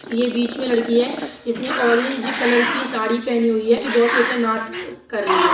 यह बीच में लड़की है। इसने ऑरेंज कलर की साड़ी पहनी हुई है बहुत ही अच्छा नाच कर रही है।